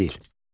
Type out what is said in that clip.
Yazı və dil.